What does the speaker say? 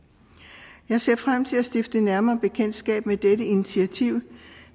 jeg ser frem til at stifte nærmere bekendtskab med dette initiativ